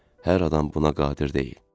Hər adam buna qadir deyil.